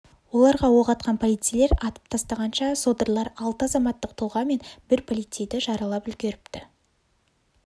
оларға оқ атқан полицейлер атып тастағанша содырлар алты азаматтық тұлға мен бір полицейді жаралап үлгеріпті